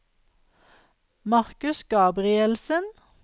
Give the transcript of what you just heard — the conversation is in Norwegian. Marcus Gabrielsen